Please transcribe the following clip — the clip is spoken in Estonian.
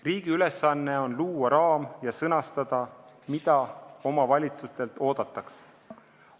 Riigi ülesanne on luua raam ja sõnastada, mida omavalitsustelt oodatakse.